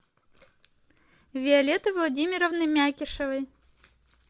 виолетты владимировны мякишевой